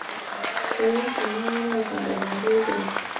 kenyor kuna kera aatadalata empira